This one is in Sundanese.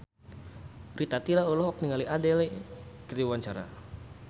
Rita Tila olohok ningali Adele keur diwawancara